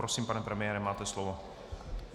Prosím, pane premiére, máte slovo.